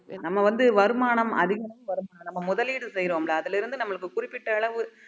நம்ம வந்து வருமானம் அதிகம் வருமானம் நம்ம முதலீடு செய்றோம்ல அதுல இருந்து நம்மளுக்கு குறிப்பிட்ட அளவு